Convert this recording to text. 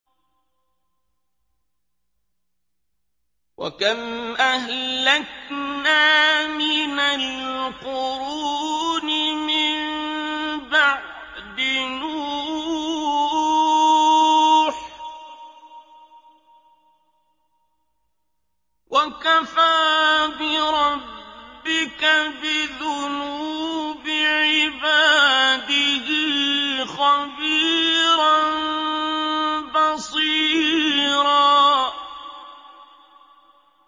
وَكَمْ أَهْلَكْنَا مِنَ الْقُرُونِ مِن بَعْدِ نُوحٍ ۗ وَكَفَىٰ بِرَبِّكَ بِذُنُوبِ عِبَادِهِ خَبِيرًا بَصِيرًا